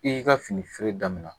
I y'i ka fini feere damina